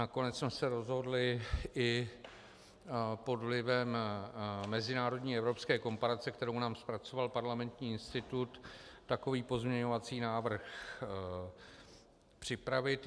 Nakonec jsme se rozhodli i pod vlivem mezinárodní evropské komparace, kterou nám zpracoval Parlamentní institut, takový pozměňovací návrh připravit.